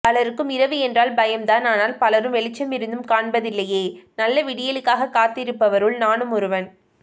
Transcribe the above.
பலருக்கும் இரவு என்றால் பயம்தான் ஆனால் பலரும் வெளிச்சமிருந்தும் காண்பதில்லையே நல்ல விடியலுக்காகக் காத்திருப்பவருள் நானும் ஒருவன்